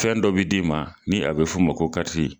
Fɛn dɔ b bɛ d'i ma ni a bɛ f''o ma ko kariti.